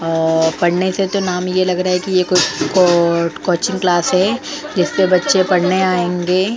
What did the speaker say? पढ़ने से तो नाम यह लग रहा है कि ये कोई कोचिंग क्लास है जिस पे बच्चे पढ़ने आएंगे।